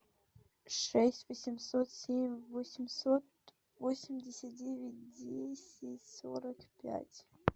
шесть восемьсот семь восемьсот восемьдесят девять десять сорок пять